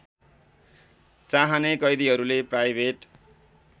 चाहने कैदीहरूले प्राइभेट